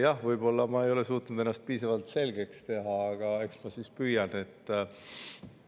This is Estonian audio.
Jah, võib-olla ma ei ole suutnud ennast piisavalt selgeks teha, aga eks ma siis püüan.